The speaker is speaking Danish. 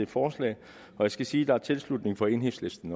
forslaget og jeg skal sige der er tilslutning fra enhedslisten